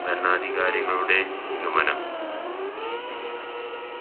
ഭരണാധികാരികളുടെ നിഗമനം